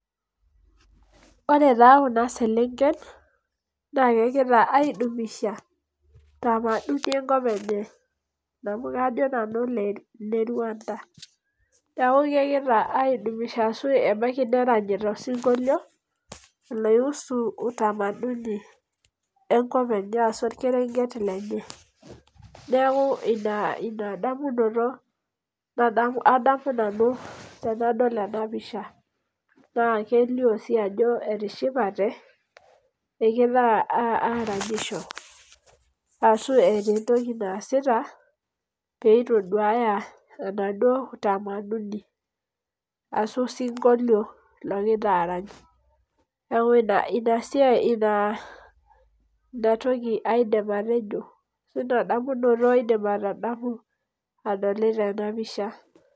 Ore taa kuna selengen naa kegira aidumisha tamaduni enkop enye amu, kajo nanu ne Rwanda. Neaku kegira aidumisha ashu, abaiki neranyita osinkolio enaihusu utamaduni enkop enye ashu orkerenget lenye. Neaku ina damunoto adamu nanu tenadol ena pisha naa, kelio sii ajo etishipate egira aranyisho ashu eeta etoki naasita pee itoduaya enaduo utamaduni ashu osinkolio logira arany. Neaku ina siai naa inatoki aidim atejo ashu inadamunoto aidim atadamu adolita ena pisha.